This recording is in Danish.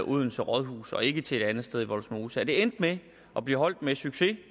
odense rådhus og ikke til et andet sted i vollsmose at det endte med at blive holdt med succes